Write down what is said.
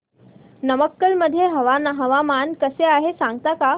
नमक्कल मध्ये हवामान कसे आहे सांगता का